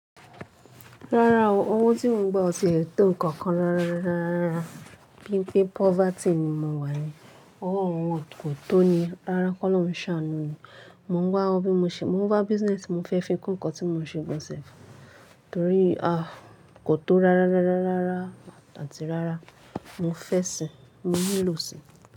Rárá o, owó tí mò ń gba ọ ti lẹ tó nǹkan kan rárá, bí i pé poverty ni mo wà ni, owó ò yẹn kò tó ni. Rárá, kọ́ lọrùn ń ṣàánú ni. Mò ń wá owó bí mo ṣe, mò ń wá business mo fẹ́ fi kun nǹkan tí mò ń ṣe gan self, torí a kò tó rárá àti rárá, mo fẹ́ sìi, mo nílò sì.